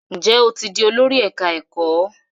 Njé o tí dì Olórí ẹka ẹkọ?